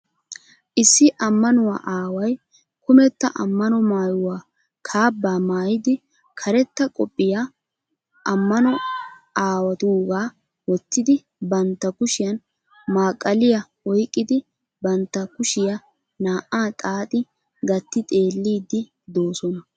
Issi amanuwa aaway kumetta amano maayuwaa kaabaa maayidi, karetta qophphiya amano aawatuugaa wottidi bantta kushshiyan maqaliya oyqqidi bantta kushiya naa'aa xaaxi gatti xeellidi doosona.